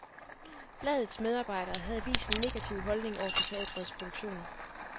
Bladets medarbejdere havde vist en negativ holdning over for teatrets produktioner.